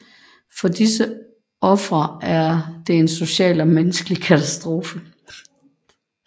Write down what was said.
For disse ofre er det en social og menneskelig katastrofe